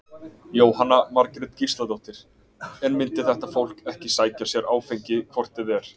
Jóhanna Margrét Gísladóttir: En myndi þetta fólk ekki sækja sér áfengi hvort eð er?